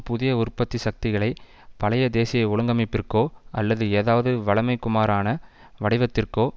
புதிய உற்பத்தி சக்திகளை பழைய தேசிய ஒழுங்கமைப்பிற்கோ அல்லது ஏதாவது வழமைக்குமாறான வடிவத்திற்கோ